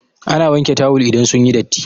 Ana wanke tawul idan sun yi datti.